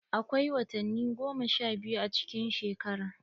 Akwai watanni goma sha biyu a cikin shekara.